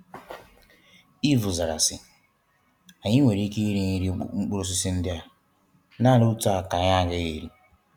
Ịvụ zara si " anyị nwere ịké ịrị mkpụrụ osịsị ndị a, nanị otu a ka anyị agaghị érị".